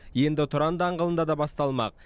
енді тұран даңғылында да басталмақ